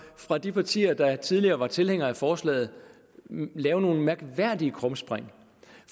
fra de partier der tidligere var tilhængere af forslaget lave nogle mærkværdige krumspring